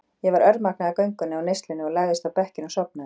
Ég var örmagna af göngunni og neyslunni og lagðist á bekkinn og sofnaði.